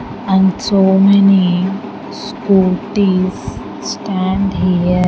and so many scooties stand here.